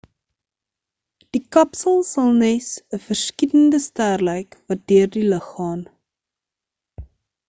die kapsel sal nes 'n verskietende ster lyk wat deur die lug gaan